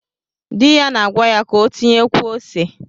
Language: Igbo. Di ya na-agwa ya ka o tinyekwuo ose.